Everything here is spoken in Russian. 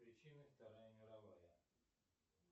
причины вторая мировая